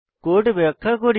code ব্যাখ্যা করি